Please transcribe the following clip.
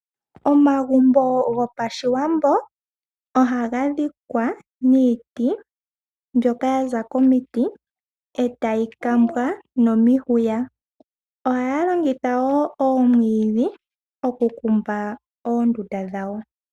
Omagumbo gopashiwambo ohaga dhikwa niiti mbyoka ya za komiti etayi kambwa nomihwiya. Ohaya longitha woo oomwiidhi okukumba oondundu dhawo.